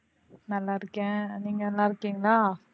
நல்லா இருக்கேன். நீங்க நல்லா இருக்கீங்களா?